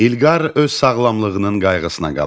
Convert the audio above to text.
İlqar öz sağlamlığının qayğısına qalır.